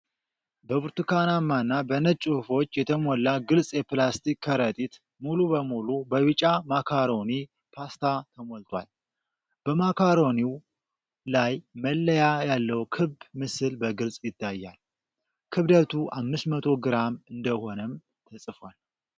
በብርቱካናማና በነጭ ጽሁፎች የተሞላ ግልጽ የፕላስቲክ ከረጢት ሙሉ በሙሉ በቢጫ ማካሮኒ ፓስታ ተሞልቷል። በማካሮኒው ላይ መለያ ያለው ክብ ምስል በግልጽ ይታያል። ክብደቱ አምስት መቶ ግራም እንደሆነም ተጽፏል።